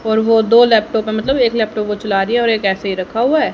और वह दो लैपटॉप है मतलब एक लैपटॉप वो चला रही है और एक ऐसे ही रखा हुआ है।